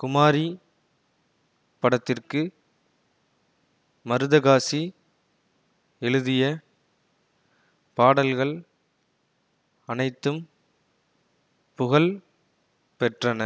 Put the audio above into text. குமாரி படத்திற்கு மருதகாசி எழுதிய பாடல்கள் அனைத்தும் புகழ் பெற்றன